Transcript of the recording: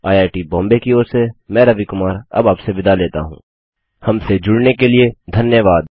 II T Bombay की ओर से मैं रवि कुमार अब आपसे विदा लेता हूँहमसे जुड़ने के लिए धन्यवाद